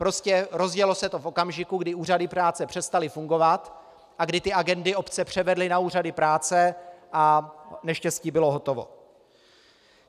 Prostě rozjelo se to v okamžiku, kdy úřady práce přestaly fungovat a kdy ty agendy obce převedly na úřady práce - a neštěstí bylo hotovo.